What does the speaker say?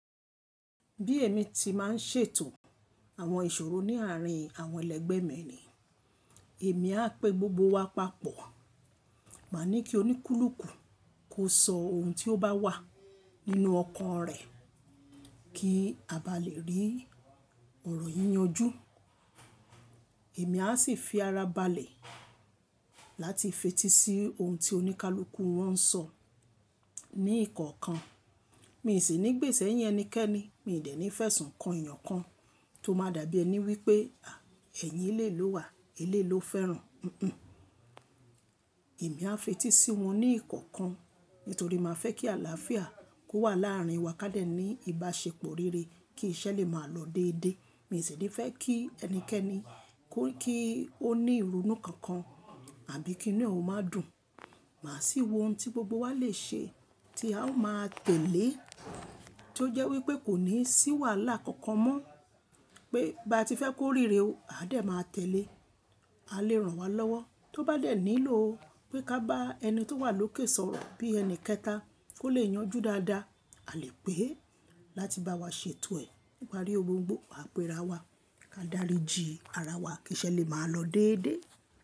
Bí èmi ti máa ń ṣètò àwọn ìṣòro ní àárín àwọn ẹlẹgbẹ́ mi ni, èmi á pe gbogbo wa papọ̀. Máa ní kí oníkúlùúkù kó sọ ohun tí ó bá wà nínú ọkàn rẹ̀ kí a bá lè rí ọ̀rọ̀ yìí yanjú. Èmi á sì fi ara ba lè láti fetí sí ohun tí oníkálùúkù wọ́n ń sọ ní ìkọ̀ọ̀kan. Mi n sì ní gbé ṣẹ́yin enikẹ́ni, mi n dẹ́ ní fẹ́ṣùn kan eeyàn kan tó máa dàbí ẹni wípé, ẹ̀yin eléyi ló wà, eléyi ló fẹ́ràn. Hunhun. Èmi á fetí sí wọn ní ìkọ̀ọ̀kan nítorí màá fẹ́ kí àlàáfíà kó wà láàrin wa ká dẹ ní ìbáṣepọ̀ rere kí iṣẹ́ lè máa lọ dédé. Mi n sì ní fẹ́ kí ẹnikẹ́ni kó kí ó ní ìrunú kankan àbí kí inú e ò má dùn. Màá sì wo ohun tí gbogbo wa lè ṣe tí a ó máa tẹ̀lé tí ó jẹ́ wípé kò ní ṣíwàlá kankan mọ́ pé bá ti fẹ́ kó rere o, a dẹ̀ máa tẹ̀lé. A lè ràn wá lọ́wọ́ tó bá dẹ̀ nílò pé ká bá ẹni tó wà lókè sọ̀rọ̀ bí ẹni kẹta kó lè yanjú dáadáa, a lè pè é láti bá wa ṣètò ẹ̀ nípari oun gbóngbò, à pe ara wa ká dáríjin ara wa kí iṣẹ́ lè máa lọ déédé.